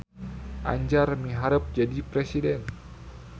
Anjar miharep jadi presiden